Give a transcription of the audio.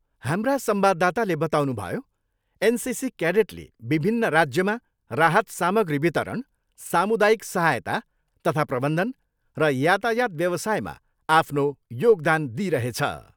हाम्रा संवाददाताले बताउनुभयो, एनसिसी केडेटले विभिन्न राज्यमा राहत सामग्री वितरण, सामुदायिक सहायता तथा प्रबन्धन र यातायात व्यवसायमा आफ्नो योगदान दिइरहेछ।